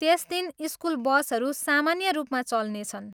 त्यस दिन स्कुल बसहरू सामान्य रूपमा चल्नेछन्।